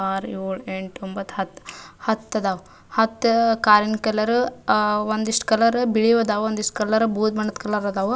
R ಏಳ್ ಎಂಟ್ ಒಂಬತ್ ಹತ್ ಆಹ್ಹ್ ಹತ್ ಅದಾವ್. ಹತ್ ಕಾರಿ ನ ಕಲರ್ ಅಹ್ ಒಂದಿಷ್ಟ್ ಕಲರ್ ಬಿಳಿವ ಅದಾವ್ ಒಂದಿಷ್ಟ್ ಕಲರ್ ಬುದ ಬಣ್ಣದ ಕಲರ್ ಅದವು.